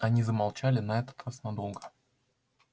они замолчали на этот раз надолго